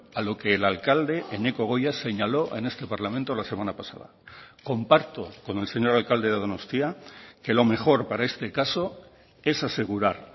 a lo que el alcalde eneko goia señaló en este parlamento la semana pasada comparto con el señor alcalde de donostia que lo mejor para este caso es asegurar